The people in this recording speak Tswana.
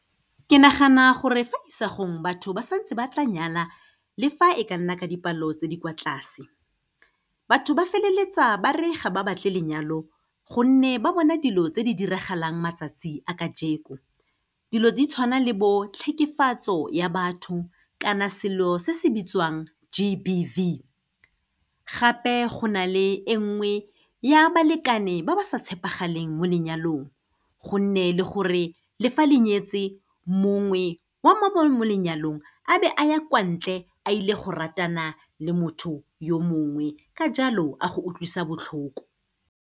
Ke nagana gore fa isagong, batho ba santse ba tla nyala le fa e ka nna ka dipalo tse di kwa tlase. Batho ba feleletsa ba re ga ba batle lenyalo gonne ba bona dilo tse di diragalang matsatsi a ka dilo di tshwana le bo tlhekefatso ya batho, kana selo se se bitswang G_B_V, gape go na le e nngwe ya balekane ba ba sa tshepagaleng mo lenyalong, go nne le gore le fa le nnyetse, mongwe wa mo lenyalong a be a ya kwantle a ile go ratana le motho yo mongwe ka jalo a go utlwisa botlhoko.